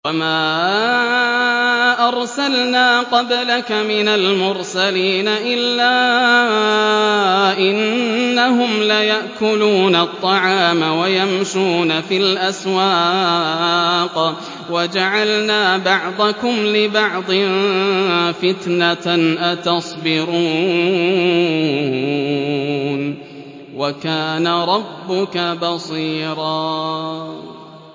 وَمَا أَرْسَلْنَا قَبْلَكَ مِنَ الْمُرْسَلِينَ إِلَّا إِنَّهُمْ لَيَأْكُلُونَ الطَّعَامَ وَيَمْشُونَ فِي الْأَسْوَاقِ ۗ وَجَعَلْنَا بَعْضَكُمْ لِبَعْضٍ فِتْنَةً أَتَصْبِرُونَ ۗ وَكَانَ رَبُّكَ بَصِيرًا